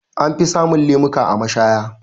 Anfi samun lemuka a mashaya.